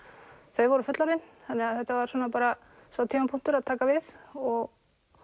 þau voru fullorðin þetta var sá tímapunktur að taka við og